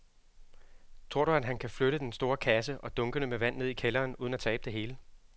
Tror du, at han kan flytte den store kasse og dunkene med vand ned i kælderen uden at tabe det hele?